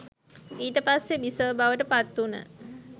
ඊට පස්සෙ බිසව බවට පත් වුන